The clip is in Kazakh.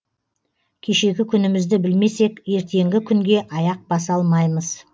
кешегі күнімізді білмесек ертеңгі күнге аяқ баса алмаймыз